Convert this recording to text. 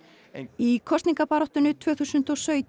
í kosningabaráttunni tvö þúsund og sautján